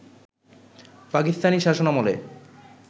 পাকিস্তানি শাসনামলে